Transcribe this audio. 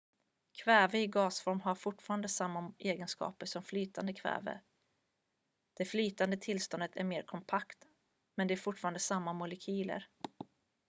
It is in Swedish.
kväve i gasform har fortfarande samma egenskaper som flytande kväve det flytande tillståndet är mer kompakt men det är fortfarande samma molekyler